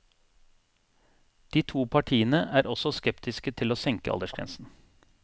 De to partiene er også skeptiske til å senke aldersgrensen.